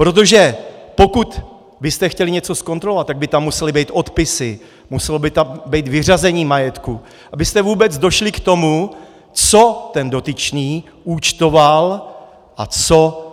Protože pokud byste chtěli něco zkontrolovat, tak by tam musely být odpisy, muselo by tam být vyřazení majetku, abyste vůbec došli k tomu, co ten dotyčný účtoval a co